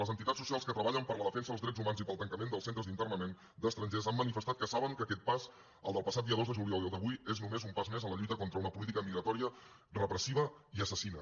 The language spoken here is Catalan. les entitats socials que treballen per la defensa dels drets humans i pel tancament dels centres d’internament d’estrangers han manifestat que saben que aquest pas el del passat dia dos de juliol i el d’avui és només un pas més en la lluita contra una política migratòria repressiva i assassina